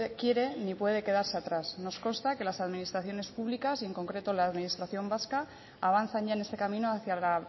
quiere ni puede quedarse atrás nos consta que las administraciones públicas y en concreto la administración vasca avanzan ya en este camino hacia la